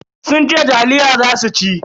Sun ce taliya za su ci.